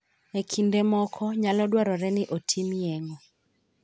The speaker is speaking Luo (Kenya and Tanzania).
E kinde moko, nyalo dwarore ni otim yeng'o.